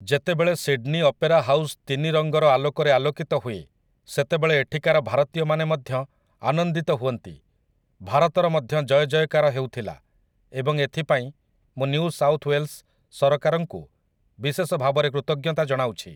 ଯେତେବେଳେ Sydney opera house ତିନି ରଙ୍ଗର ଆଲୋକରେ ଆଲୋକିତ ହୁଏ ସେତେବେଳେ ଏଠିକାର ଭାରତୀୟମାନେ ମଧ୍ୟ ଆନନ୍ଦିତ ହୁଅନ୍ତି, ଭାରତର ମଧ୍ୟ ଜୟ ଜୟକାର ହେଉଥିଲା ଏବଂ ଏଥିପାଇଁ ମୁଁ ନିଉ ସାଉଥ୍ ୱେଲ୍ସ ସରକାରଙ୍କୁ ବିଶେଷ ଭାବରେ କୃତଜ୍ଞତା ଜଣାଉଛି ।